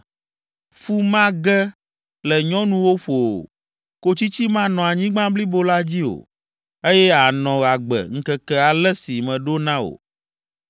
Fu mage le nyɔnuwo ƒo o, kotsitsi manɔ anyigba blibo la dzi o, eye ànɔ agbe ŋkeke ale si meɖo na wò.